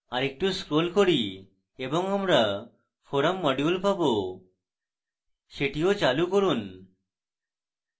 আরেকটু scroll করুন এবং আমরা forum module পাবো সেটিও চালু করুন